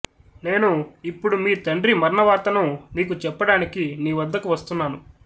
నేను ఇప్పుడు మీ తండ్రి మరణవార్తను నీకు చెప్పడానికి నీ వద్దకు వస్తున్నాను